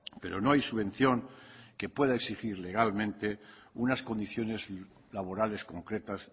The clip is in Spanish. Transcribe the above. pero no hay subvención que pueda exigir legalmente unas condiciones laborales concretas